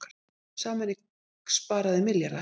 Sameining spari milljarða